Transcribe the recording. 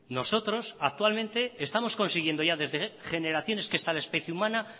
nosotros actualmente estamos consiguiendo ya desde generaciones que esta especie humana